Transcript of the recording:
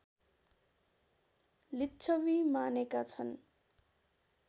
लिच्छवि मानेका छन्